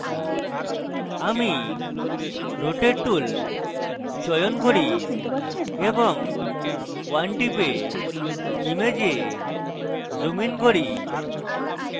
আমি rotate tool চয়ন করি এবং 1 টিপে image zoom ইন করি